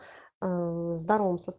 в здоровом теле